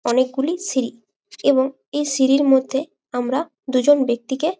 অনেকগুলি সিঁড়ি। এবং এই সিঁড়ির মধ্যে আমরা দুজন ব্যাক্তিকে--